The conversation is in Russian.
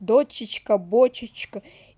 дочечка бочечка